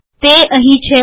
તે અહીં છે